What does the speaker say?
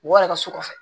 Mɔgɔ yɛrɛ ka so kɔfɛ